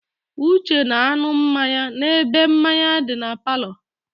Uche na-aṅụ mmanya n'ebe mmanya di na palọ.